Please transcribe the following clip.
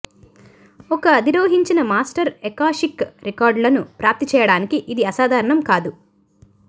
ఒక అధిరోహించిన master akashic రికార్డులను ప్రాప్తి చేయడానికి ఇది అసాధారణం కాదు